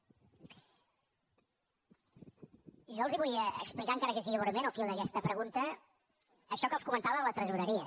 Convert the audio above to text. jo els vull explicar encara que sigui breument al fil d’aquesta pregunta això que els comentava de la tresoreria